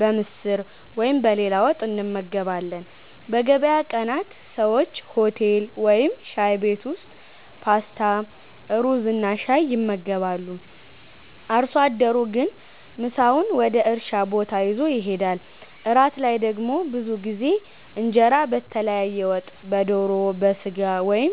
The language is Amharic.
በምስር ወይም በሌላ ወጥ እንመገባለን። በገበያ ቀናት ሰዎች ሆቴል ወይም ሻይ ቤት ውስጥ ፓስታ፣ ሩዝና ሻይ ይመገባሉ። አርሶ አደሩ ግን ምሳውን ወደ እርሻ ቦታ ይዞ ይሄዳል። እራት ላይ ደግሞ ብዙ ጊዜ እንጀራ በተለያየ ወጥ (በዶሮ፣ በሥጋ ወይም